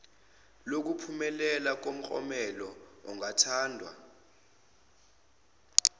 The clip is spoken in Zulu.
lokuphumelela umklomelo ongathandwa